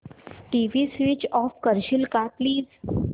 TV switch off करशील का please